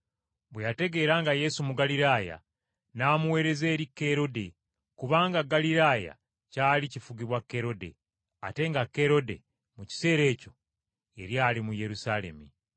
Bwe yategeera nga Yesu Mugaliraaya, n’amuweereza eri Kerode, kubanga Ggaliraaya kyali kifugibwa Kerode, ate nga Kerode mu kiseera ekyo yali ali mu Yerusaalemi.